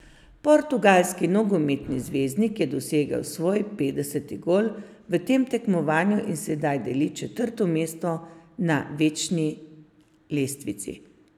Portugalski nogometni zvezdnik je dosegel svoj petdeseti gol v tem tekmovanju in sedaj deli četrto mesto na večni lestvici.